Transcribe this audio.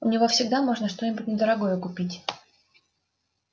у него всегда можно что-нибудь недорогое купить